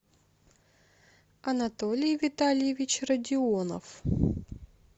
анатолий витальевич родионов